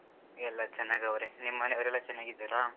ಎಲ್ಲಾ ಚೆನ್ನಾಗವ್ರೆ, ನಿಮ್ ಮನೆವ್ರೆಲ್ಲಾ ಚೆನ್ನಾಗಿದ್ದಾರಾ?